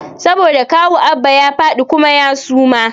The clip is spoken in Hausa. Saboda kawu Abba ya fadi kuma ya suma